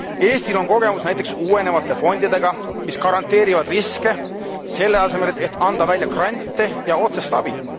Eestil on kogemus näiteks uuenevate fondidega, mis garanteerivad riske, selle asemel et anda välja grante ja otsest abi.